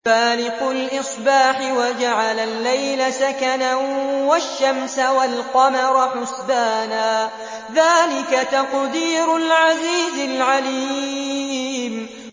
فَالِقُ الْإِصْبَاحِ وَجَعَلَ اللَّيْلَ سَكَنًا وَالشَّمْسَ وَالْقَمَرَ حُسْبَانًا ۚ ذَٰلِكَ تَقْدِيرُ الْعَزِيزِ الْعَلِيمِ